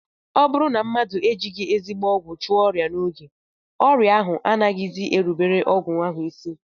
Ọ bụrụ na mmadụ ejighị ezigbo ọgwụ chụọ ọrịa n'oge, ọrịa ahụ anaghịzi erubere ọgwụ ahụ isi